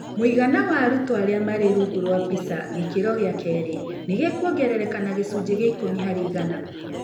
Mũigana wa arutwo arĩa marĩ rungu rwa PISA gĩkĩro gĩa kĩrĩ nĩ ũkũongerereka na gĩcunjĩ kĩa ikũmi harĩ igana.